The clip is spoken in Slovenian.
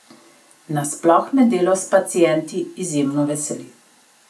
Nasploh me delo s pacienti izjemno veseli!